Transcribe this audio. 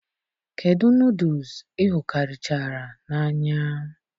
kedụ nodles ihukarichara n'anya